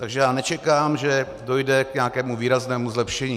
Takže já nečekám, že dojde k nějakému výraznému zlepšení.